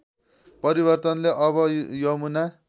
परिवर्तनले अब यमुना